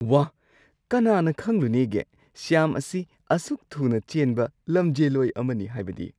ꯋꯥꯍ! ꯀꯅꯥꯅ ꯈꯪꯂꯨꯅꯦꯒꯦ ꯁ꯭ꯌꯥꯝ ꯑꯁꯤ ꯑꯁꯨꯛ ꯊꯨꯅ ꯆꯦꯟꯕ ꯂꯝꯖꯦꯜꯂꯣꯏ ꯑꯃꯅꯤ ꯍꯥꯏꯕꯗꯤ?